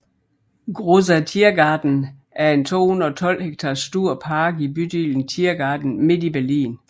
Großer Tiergarten er en 212 hektar stor park i bydelen Tiergarten midt i Berlin